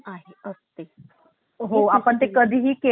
तिलकाचा करवत होता